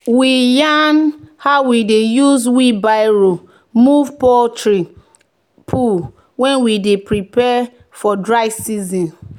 "we yarn how we dey use wheelbarrow move poultry poo when we dey prepare for dry season."